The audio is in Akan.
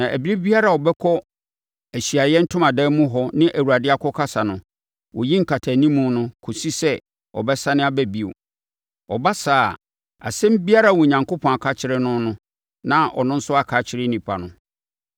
na ɛberɛ biara a ɔbɛkɔ Ahyiaeɛ Ntomadan mu hɔ ne Awurade akɔkasa no, ɔyi nkatanimu no kɔsi sɛ ɔbɛsane aba bio; ɔba saa a, asɛm biara a Onyankopɔn aka akyerɛ no no, na ɔno nso aka akyerɛ nnipa no